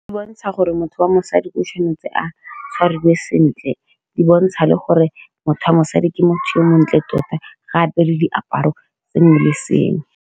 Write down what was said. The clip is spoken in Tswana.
Di bontsha gore motho wa mosadi o tshwanetse a tshwariwe sentle, di bontsha le gore motho wa mosadi ke motho yo o montle tota, gape le diaparo sengwe le sengwe.